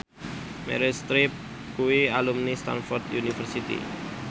Meryl Streep kuwi alumni Stamford University